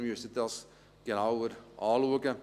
Wir müssen das genauer anschauen.